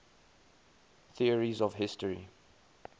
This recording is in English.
theories of history